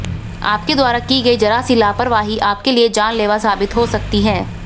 आपके द्वारा की गई जरा सी लापरवाही आपके लिए जानलेवा साबित हो सकती हैं